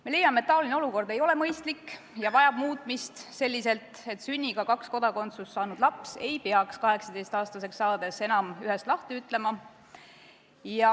Me leiame, et see olukord ei ole mõistlik ja vajab muutmist selliselt, et sünniga kaks kodakondsust saanud laps ei peaks 18-aastaseks saades enam ühest lahti ütlema.